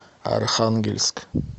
архангельск